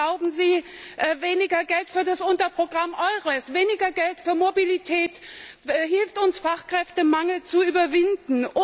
Glauben Sie, weniger Geld für das Unterprogramm Eures, weniger Geld für Mobilität hilft uns, den Fachkräftemangel zu überwinden?